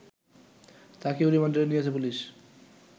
তাকেও রিমান্ডে নিয়েছে পুলিশ